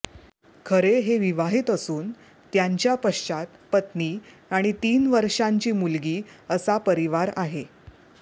खरे हे विवाहित असून त्यांच्या पश्चात पत्नी आणि तीन वर्षांची मुलगी असा परिवार आहे